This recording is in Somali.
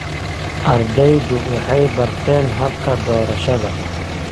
Ardaydu waxay barteen habka doorashada.